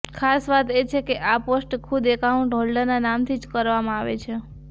ખાસ વાત એ છે કે આ પોસ્ટ ખુદ અકાઉન્ટ હોલ્ડરના નામથી જ કરવામાં આવે છે